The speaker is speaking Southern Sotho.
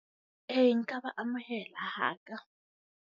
E, nka ba amohela ha ka.